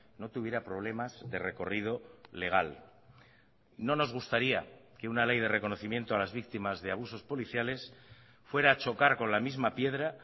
no tuviera problemas de recorrido legal no nos gustaría que una ley de reconocimiento a las víctimas de abusos policiales fuera a chocar con la misma piedra